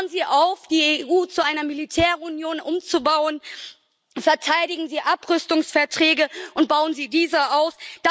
Hören Sie auf, die EU zu einer Militärunion umzubauen, verteidigen Sie Abrüstungsverträge und bauen Sie diese aus.